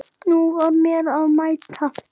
Nú var mér að mæta!